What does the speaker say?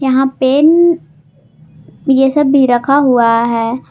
यहां पेन ये सब भी रखा हुआ है।